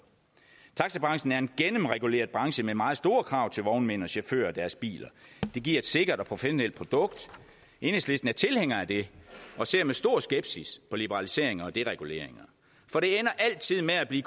taxabranchen er en gennemreguleret branche med meget store krav til vognmænd og chauffører og deres biler det giver et sikkert og professionelt produkt enhedslisten er tilhænger af det og ser med stor skepsis på liberaliseringer og dereguleringer for det ender altid med at blive